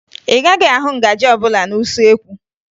Ị gaghị ahụ ngaji ọbụla n'usuekwu